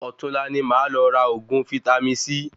Ọ̀tunla ní máa lọ ra oògùn vítámì C